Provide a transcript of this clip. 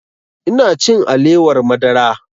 Ina cin alewar madara